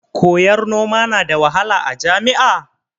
Koyar noma na da wahala a jami'a?